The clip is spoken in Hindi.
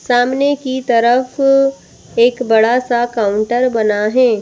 सामने की तरफ एक बड़ा सा काउंटर बना है।